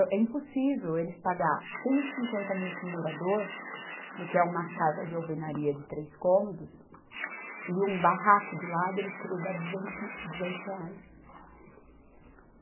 é impossível eles pagar cento e cinquenta mil para um morador, porque é uma casa de alvenaria de três cômodos, e um barraco do lado, eles querer dar duzentos, duzentos reais.